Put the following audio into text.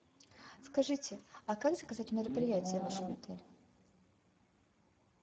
скажите а как заказать мероприятие в вашем отеле